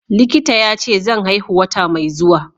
Likita yace zan haihu wata mai zuwa.